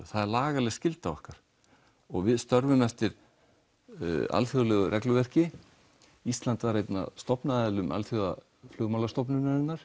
það er lagaleg skylda okkar og við störfum eftir alþjóðlegu regluverki ísland var eitt af stofnendum Alþjóða flugmálastofnunarinnar